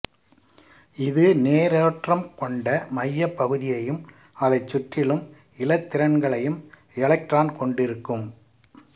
இது நேரேற்றம் கொண்ட மையப் பகுதியையும் அதைச் சுற்றிலும் இலத்திரன்களையும் எலெக்ட்ரான் கொண்டிருக்கும்